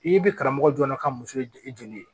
I bɛ karamɔgɔ jɔ ka muso ye joli ye